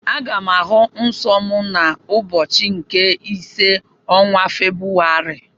Aga m ahụ nsọ m n'ụbọchị nke ise ọnwa Febrụwarị.